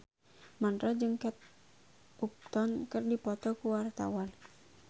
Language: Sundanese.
Mandra jeung Kate Upton keur dipoto ku wartawan